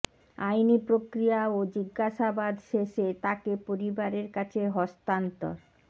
আইনি প্রক্রিয়া ও জিজ্ঞাসাবাদ শেষে তাকে পরিবারের কাছে হস্তান্তর